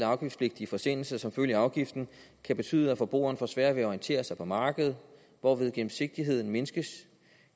afgiftspligtige forsendelser som følge af afgiften kan betyde at forbrugeren får sværere ved at orientere sig på markedet hvorved gennemsigtigheden mindskes